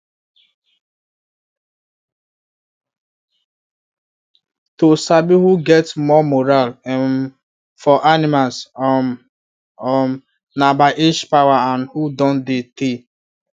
to sabi who get more moral um for animals um um na by age power and who don dey tey